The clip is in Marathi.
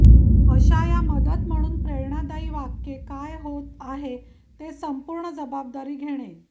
अशा या मदत म्हणून प्रेरणादायी वाक्ये काय होत आहे ते संपूर्ण जबाबदारी घेणे